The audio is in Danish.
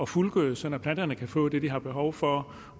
fuldgødes og planterne kan få det de har behov for